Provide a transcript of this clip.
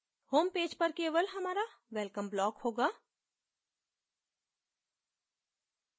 homepage पर केवल हमारा welcome block होगा